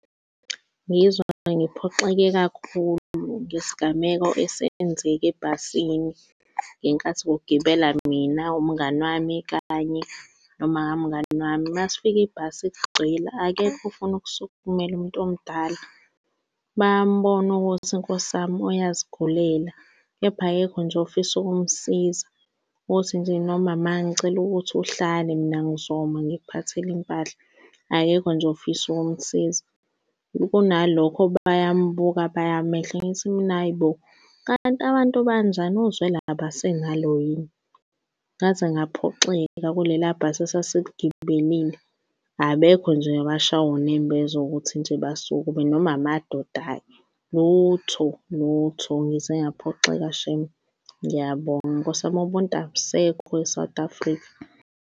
Ngizwa ngiphoxeke kakhulu ngesigameko esenzeke ebhasini ngenkathi kugibela mina, umngani wami, kanye noma kamngani wami. Masifika ibhasi ligcwele akekho ofuna ukusukumela umuntu omdala. Bayambona ukuthi nkosi yami uyazigulela kepha akekho nje ofisa ukumsiza, ukuthi nje noma ma ngicela ukuthi uhlale mina ngizoma ngikuphathele impahla, akekho nje ofisa ukumsiza, kunalokho bayambuka bayamehla. Ngithi mina, hhayi bo kanti abantu banjani uzwelo abasenalo yini? Ngaze ngaphoxeka kuleliya bhasi esasiligibelile abekho nje owashaywa unembeza ukuthi nje basukume noma amadoda-ke, lutho lutho, ngize ngaphoxeka shame. Ngiyabonga nkosi yami ubuntu abusekho e-South Africa.